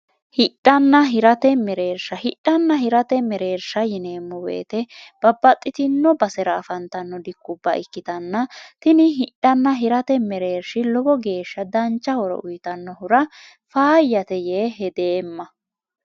hidhanna hirate mereersha hidhanna hirate mereersha yineemmo woyite babbaxxitino basera afantanno dikkubba ikkitanna tini hidhanna hirate mereershi lowo geeshsha dancha horo uyitannohura faayyate yee hedeemma